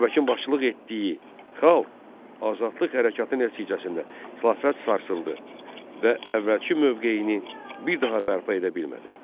Babəkin başçılıq etdiyi xalq azadlıq hərəkatı nəticəsində xilafət sarsıldı və əvvəlki mövqeyini bir daha bərpa edə bilmədi.